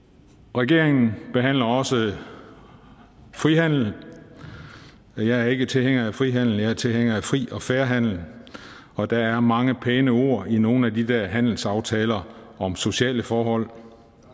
regeringen behandler også frihandel jeg er ikke tilhænger af frihandel jeg er tilhænger af fri og fair handel og der er mange pæne ord i nogle af de der handelsaftaler om sociale forhold